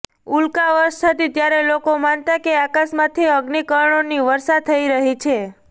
ઉલ્કાવર્ષા થતી ત્યારે લોકો માનતા કે આકાશમાંથી અગ્નિકણોની વર્ષા થઈ રહી છે